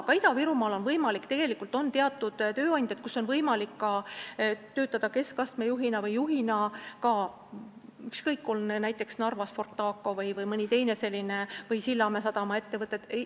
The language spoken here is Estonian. Ka Ida-Virumaal on teatud tööandjad, kelle juures on võimalik töötada keskastme juhina või juhina, ükskõik, näiteks Narvas on Fortaco või mõni teine ja on ka Sillamäe sadama ettevõtted.